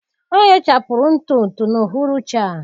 Ọ ghechapụrụ ntụ ntụ n'uhuruchi a.